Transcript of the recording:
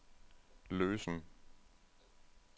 løsen